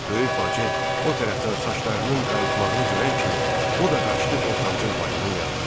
Böyük bacı o tərəfdən saçlarının qayıtmağını görən kimi o da qaçdı ortancıl bacının yanına.